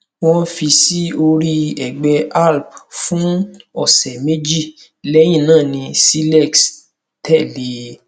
wọn fi sí orí ẹgbẹ alp fún ọsẹ méjì lẹyìn náà ni cilex tẹlé e